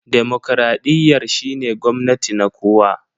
demokradiyyar shine gwamnati na kowa.